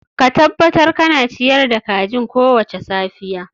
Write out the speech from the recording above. Ka tabbatar kana ciyar da kajin kowace safiya